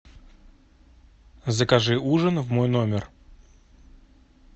закажи ужин в мой номер